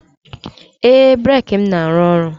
Ee, breeki m na-arụ ọrụ